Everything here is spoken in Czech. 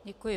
Děkuji.